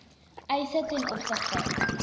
eise ten opsigte